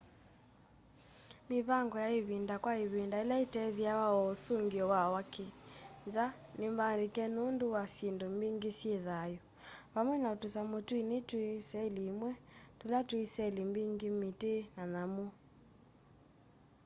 mivango ya ĩvinda kwa ĩvinda ĩla ĩtethĩawa o ũsũngĩo wa wa kĩ nza nĩmbaandĩke nũndũ wa syĩndũ mbingĩ syĩ thayũ vamwe na tũsamũ tũini twĩ seli ĩmwe tũla twĩ seli mbingĩ mĩtĩ na nyamũ